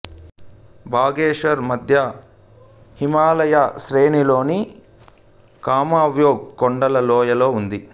బాగేశ్వర్ మధ్య హిమాలయ శ్రేణిలోని కుమావోన్ కొండల లోయలో ఉంది